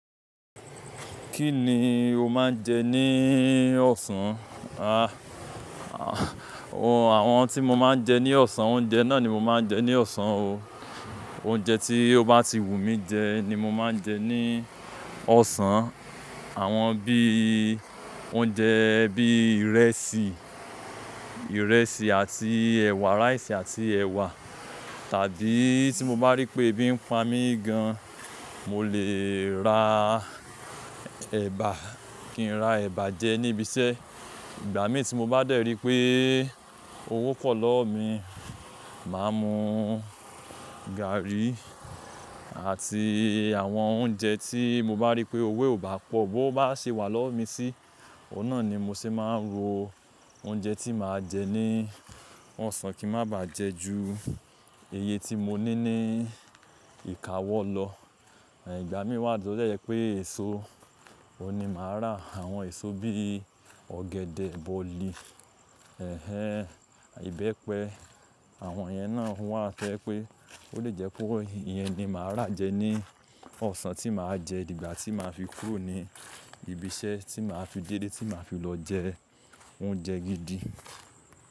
Kí ni o máa ń jẹ ní ọ̀sán? Àwọn tí mo máa ń jẹ ní ọ̀sán, oúnjẹ náà ni mo máa ń jẹ ní ọ̀sán o. Oúnjẹ tí ó bá ti wù mí jẹ ni mo máa ń jẹ ní ọ̀sán. Àwọn bíi oúnjẹ bíi ìrẹsì, ìrẹsì àti ẹ̀wà, rice àti ẹ̀wà. Tàbí tí mo bá rí pé ebi ń pa mí gan, mo lè ra ẹ̀bà, kí n ra ẹ̀bà jẹ ní ibi iṣẹ́. Ìgbà mí tí mo bá dẹ̀ rí pé owó pọ̀ lọ́wọ́ mi, màá mú gààrí àti àwọn oúnjẹ tí mo bá rí pé owó e ò bá pọ̀, bówo bá ṣe wà lọ́wọ́ mi sí, ọ̀un nà ni mo ṣe máa ń ro oúnjẹ tí màá jẹ ní ọ̀sán kí má bàá jẹ ju iye tí mo ní ní ìkáwọ́ lọ. Igbà mí wá to de jẹ́ pé èso, òun ni màá rà. Àwọn èso bíi ọ̀gẹ̀dẹ̀, bọ̀lì, ẹ̀hẹ̀n, ìbẹ́pẹ. Àwọn yẹn náà wà tó jẹ pé ó lè jẹ́ pé ó ìyẹn ni màá rà jẹ ní ọ̀sán tí màá jẹ dìgbà tí màá fi kúrò ní ibi iṣẹ́ tí màá fi dédé tí màá fi lọ jẹ oúnjẹ gidi.